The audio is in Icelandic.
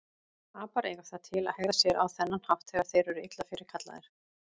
Apar eiga það til að hegða sér á þennan hátt þegar þeir eru illa fyrirkallaðir.